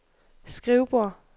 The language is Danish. skrivebord